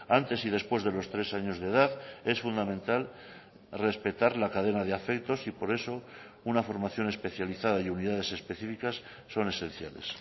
antes y después de los tres años de edad es fundamental respetar la cadena de afectos y por eso una formación especializada y unidades específicas son esenciales